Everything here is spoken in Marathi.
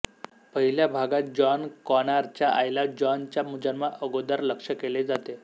पहिल्या भागात जॉन कॉनॉर च्या आईला जॉन च्या जन्मा आगोदर लक्ष्य केले जाते